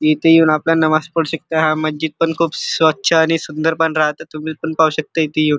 इथ येऊन आपला नमाज पडु शकता हा मज्जीद पण खुप स्वच्छ आणि सुंदर पण राहतात तुम्ही पण पाहु शकता इथ येऊन.